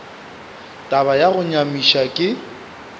taba ya go nyamiša ke